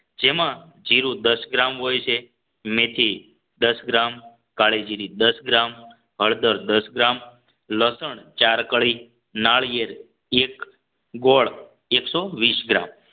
જેમાં જીરુ દસ ગ્રામ હોય છે મેથી દસ ગ્રામ કાળીજીરી દસ ગ્રામ હળદર દસ ગ્રામ લસણ ચાર કળી નાળિયેર એક ગોળ એકસો વીસ ગ્રામ જેમાં